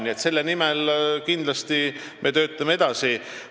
Nii et selle nimel me kindlasti töötame edasi.